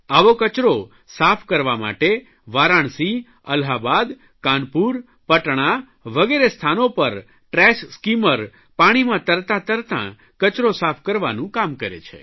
આવો કચરો સાફ કરવા માટે વારાણસી અલ્હાબાદ કાનપુર પટણા વગેરે સ્થાનો પર ટ્રેશ સ્કીમર પાણીમાં તરતાં તરતાં કચરો સાફ કરવાનું કામ કરે છે